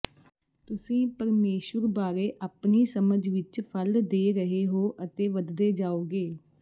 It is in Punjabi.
ਤੁਸੀਂ ਪਰਮੇਸ਼ੁਰ ਬਾਰੇ ਆਪਣੀ ਸਮਝ ਵਿਚ ਫਲ ਦੇ ਰਹੇ ਹੋ ਅਤੇ ਵਧਦੇ ਜਾਓਗੇ